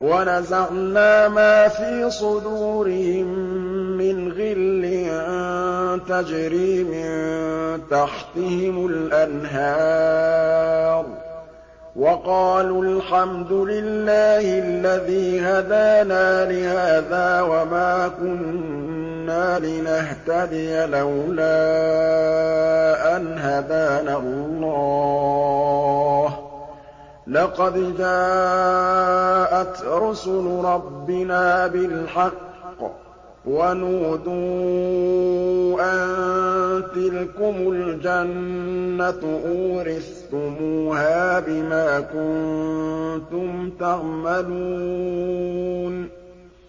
وَنَزَعْنَا مَا فِي صُدُورِهِم مِّنْ غِلٍّ تَجْرِي مِن تَحْتِهِمُ الْأَنْهَارُ ۖ وَقَالُوا الْحَمْدُ لِلَّهِ الَّذِي هَدَانَا لِهَٰذَا وَمَا كُنَّا لِنَهْتَدِيَ لَوْلَا أَنْ هَدَانَا اللَّهُ ۖ لَقَدْ جَاءَتْ رُسُلُ رَبِّنَا بِالْحَقِّ ۖ وَنُودُوا أَن تِلْكُمُ الْجَنَّةُ أُورِثْتُمُوهَا بِمَا كُنتُمْ تَعْمَلُونَ